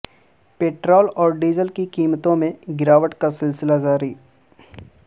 petrol اور diesel کی قیمتوں میں گراوٹ کاسلسلہ جاری